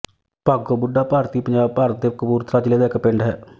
ਭਾਗੋ ਬੁੱਢਾ ਭਾਰਤੀ ਪੰਜਾਬ ਭਾਰਤ ਦੇ ਕਪੂਰਥਲਾ ਜ਼ਿਲ੍ਹਾ ਦਾ ਇੱਕ ਪਿੰਡ ਹੈ